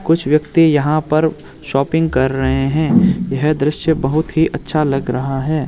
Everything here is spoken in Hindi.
कुछ व्यक्ति यहां पर शॉपिंग कर रहे हैं यह दृश्य बहुत ही अच्छा लग रहा है।